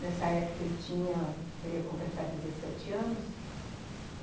Nessa época, eu tinha, eu ia completar dezessete anos, uhum.